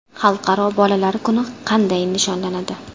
Xalqaro bolalar kuni qanday nishonlanadi?